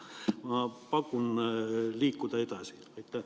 Ma pakun, et me võiks edasi liikuda.